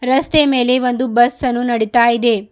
ರಸ್ತೆ ಮೇಲೆ ಒಂದು ಬಸ್ ಅನ್ನು ನಡಿತಾ ಇದೆ.